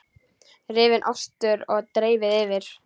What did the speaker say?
Rífið ostinn og dreifið yfir.